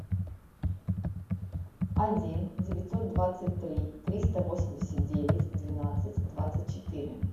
один девятьсот двадцать три триста восемьдесят девять двенадцать двадцать четыре